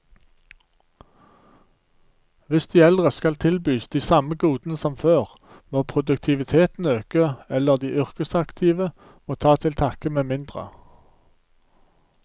Hvis de eldre skal tilbys de samme godene som før, må produktiviteten øke, eller de yrkesaktive må ta til takke med mindre.